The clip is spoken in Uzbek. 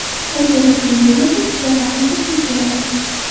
Qanchalik qiyin bo‘lmasin, Xudo xohlasa, suv keladi”.